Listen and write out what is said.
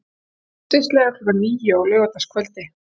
Stundvíslega klukkan níu á laugardagskvöld.